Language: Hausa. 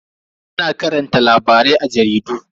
Ana karanta labarai a jaridu.